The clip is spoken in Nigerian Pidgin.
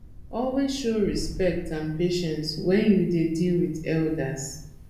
always show respect and patience when you dey deal with elders